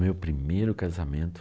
Meu primeiro casamento.